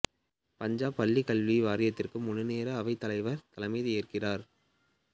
பஞ்சாப் பள்ளிக் கல்வி வாரியத்திற்கு முழுநேர அவைத்தலைவர் தலைமை ஏற்கிறார்